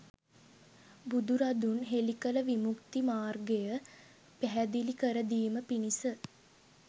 බුදුරදුන් හෙළි කළ විමුක්ති මාර්ගය පැහැදිලි කරදීම පිණිස